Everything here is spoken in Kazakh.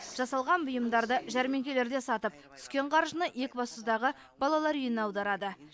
жасалған бұйымдарды жәрмеңкелерде сатып түскен қаржыны екібастұздағы балалар үйіне аударады